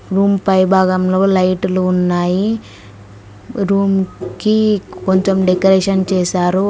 Room పై భాగంలో లైటులు ఉన్నాయి రూమ్ కి కొంచెం డెకరేషన్ చేశారు.